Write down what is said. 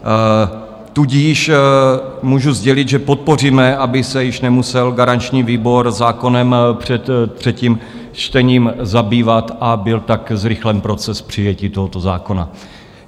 Tudíž můžu sdělit, že podpoříme, aby se již nemusel garanční výbor zákonem před třetím čtením zabývat, a byl tak zrychlen proces přijetí tohoto zákona.